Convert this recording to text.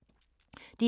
DR K